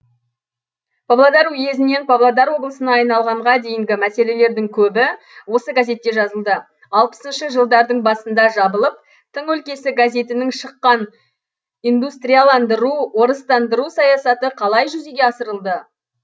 павлодар уезінен павлодар облысына айналғанға дейінгі мәселелердің көбі осы газетте жазылды алпысыншы жылдардың басында жабылып тың өлкесі газетінің шыққан индустрияландыру орыстандыру саясаты қалай жүзеге асырылды